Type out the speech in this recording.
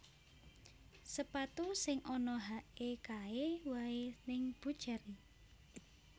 Sepatu sing ana hake kae wae ning Buccheri